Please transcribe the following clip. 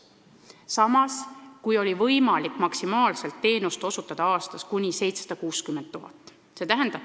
Samas oli võimalik kasutada teenust kuni 760 000 euro eest.